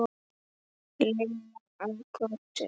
Lilla að Kötu.